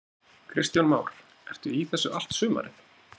Kristján Már: Ertu í þessu allt sumarið?